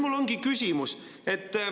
Mul on küsimus.